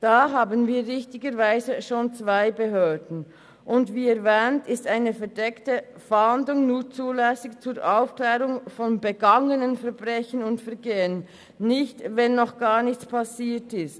Da haben wir richtigerweise schon zwei Behörden, und wie erwähnt ist eine verdeckte Fahndung nur zulässig zur Aufklärung von vergangenen Verbrechen und Vergehen, jedoch nicht, wenn noch gar nichts passiert ist.